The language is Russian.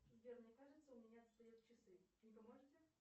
сбер мне кажется у меня отстают часы не поможете